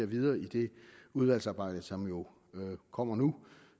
videre i det udvalgsarbejde som jo kommer nu